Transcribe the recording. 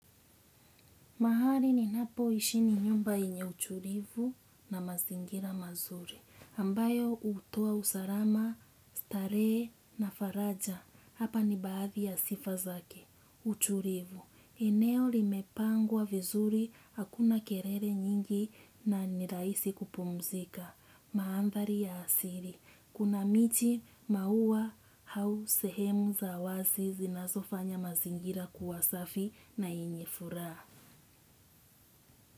Mahari ninapoishi ni nyumba yenye utulivu na mazingira mazuri, ambayo hutoa usalama starehe na faraja, hapa ni baadhi ya sifa zake, utulivu. Eneo limepangwa vizuri, hakuna kelele nyingi na ni rahisi kupumzika, maandhari ya asili, kuna miti maua za sehemu zawazi zinazofanya mazingira kuwasafi na yenye furaha.